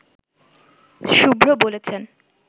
শুভ্র বলেছেন